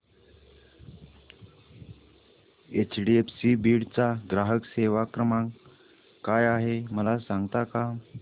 HDFC Beed चा ग्राहक सेवा क्रमांक काय आहे मला सांगता का